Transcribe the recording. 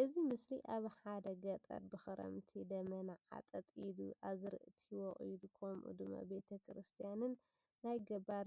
እዚ ምስሊ አብ ሓደ ገጠር ብክረምቲ ደበና ዓጠጥ ኢሉ አዝርእቲ ወቂሉ ከምኡ ድማ ቤተ ክርስትያንን ናይ ገባር